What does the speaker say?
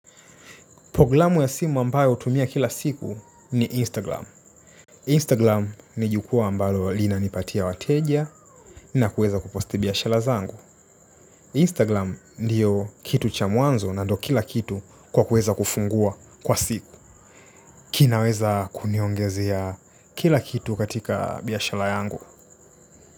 Ploglamu ya simu ambayo utumia kila siku ni Instagram. Instagram ni jukuwa ambalo lina nipatia wateja na kuweza kuposti biashala zangu. Istaglam ndio kitu cha mwanzo na ndio kila kitu kwa kuweza kufungua kwa siku. Kinaweza kuniongezea kila kitu katika biashala yangu.